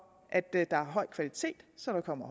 at der er en høj kvalitet så der kommer